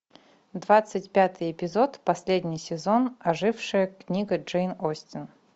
двадцать пятый эпизод последний сезон ожившая книга джейн остин